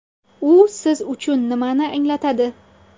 U siz uchun nimani anglatadi?